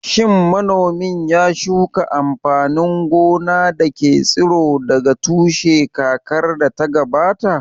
Shin manomin ya shuka amfanin gona da ke tsiro daga tushe kakar da ta gabata?